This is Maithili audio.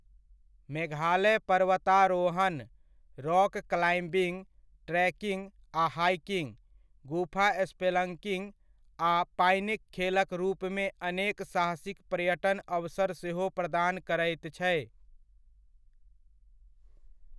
मेघालय पर्वतारोहण, रॉक क्लाइम्बिंग, ट्रेकिंग आ हाइकिंग, गुफा स्पेलंकिंग आ पानिक खेलक रूपमे अनेक साहसिक पर्यटन अवसर सेहो प्रदान करैत छै।